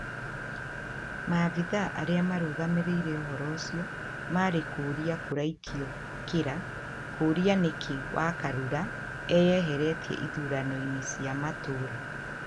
Maafithaa arĩa mararũgamĩrĩra ũhoro ũcio marĩ kũrĩa kũraikĩrio kĩra kũrĩa nĩkĩĩ wakarura eyehetie ithurano-inĩ cia matura